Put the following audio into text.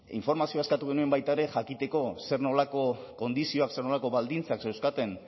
informazioa eskatu genion baita ere jakiteko zer nolako kondizioak zer nolako baldintzak zeuzkaten